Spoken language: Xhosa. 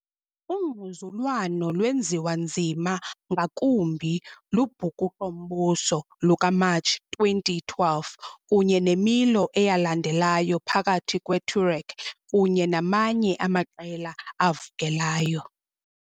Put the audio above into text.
Ungquzulwano lwenziwa nzima ngakumbi lubhukuqo-mbuso lukaMatshi 2012 kunye nemilo eyalandelayo phakathi kweTuareg kunye namanye amaqela avukelayo.